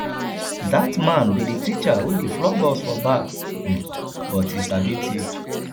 dat man be the teacher wey dey flog us for back um but he sabi teach